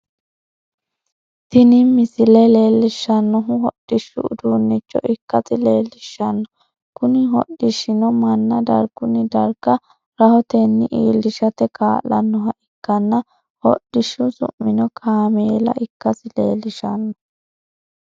Tini misile leelishanohu hodhishu uduunicho ikasi leelishano kunni hodhishino manna dargunni darga rahotenni iilishate kaa'lanoha ikkanna hodhishu su'mino kaameella ikasi leelishano.